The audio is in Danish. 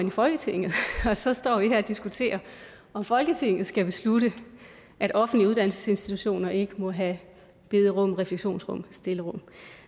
i folketinget og så står vi her og diskuterer om folketinget skal beslutte at offentlige uddannelsesinstitutioner ikke må have bederum refleksionsrum stillerum